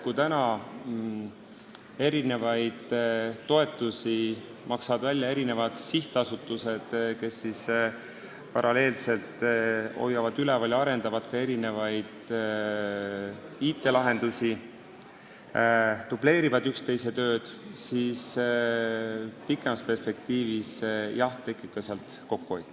Kui praegu maksavad toetusi välja erinevad sihtasutused, kes paralleelselt hoiavad üleval ja arendavad ka IT-lahendusi ehk dubleerivad üksteise tööd, siis pikemas perspektiivis tekib sealt kokkuhoidu.